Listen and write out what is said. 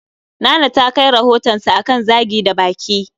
Nana ta kai rohotansa akan Zagi da baki